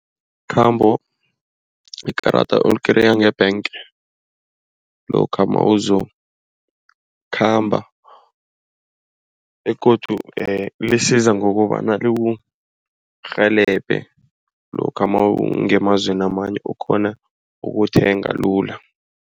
Ikhambo, ikarada olikereya nge-bank lokha nawuzokukhamba begodu lisiza ngokobana likurhelebhe lokha nawungemazweni amanye ukghone ukuthenga lula.